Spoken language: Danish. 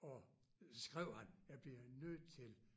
Og så skrev han jeg bliver nødt til